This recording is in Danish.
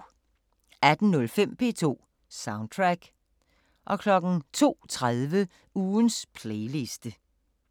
18:05: P2 Soundtrack 02:30: Ugens playliste